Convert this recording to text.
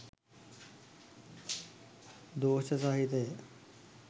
දෝෂ සහිතය.